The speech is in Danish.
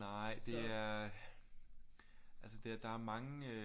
Nej det er altså det der er mange øh